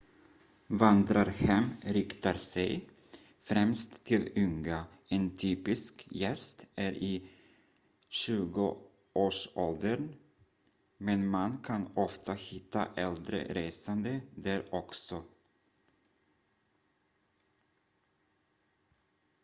vandrarhem riktar sig främst till unga en typisk gäst är i 20-årsåldern men man kan ofta hitta äldre resande där också